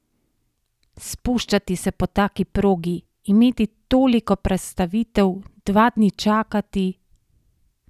Spuščati se po taki progi, imeti toliko prestavitev, dva dni čakati...